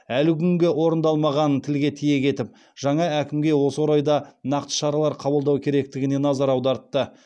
әлі күнге орындалмағанын тілге тиек етіп жаңа әкімге осы орайда нақты шаралар қабылдау керектігіне назар аудартты